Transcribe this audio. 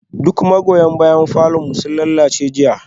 Duk magoya bayan falon mu sun lalace jiya